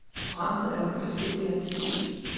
Programmet er uhyre simpelt at betjene.